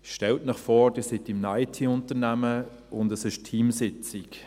Stellen Sie sich vor, Sie sind in einem IT-Unternehmen und es ist Teamsitzung.